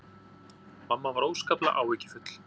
Mamma var óskaplega áhyggjufull.